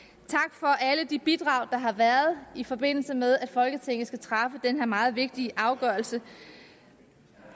for alle de bidrag der har været i forbindelse med at folketinget skulle træffe den her meget vigtige afgørelse